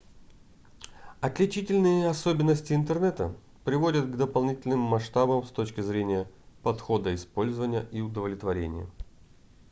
отличительные особенности интернета приводят к дополнительным масштабам с точки зрения подхода использования и удовлетворения